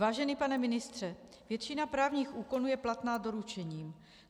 Vážený pane ministře, většina právních úkonů je platná doručením.